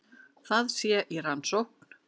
Það sé í rannsókn